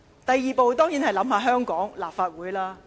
第二步，當然是要考慮香港立法會的形勢。